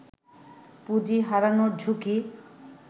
পুঁজি হারানোর ঝুঁকি